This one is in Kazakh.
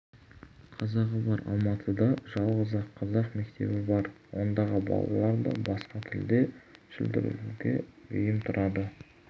қазағы бар алматыда жалғыз-ақ қазақ мектебі бар ондағы балалар да басқа тілде шүлдірлеуге бейім тұрады